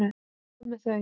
Hvað með þau?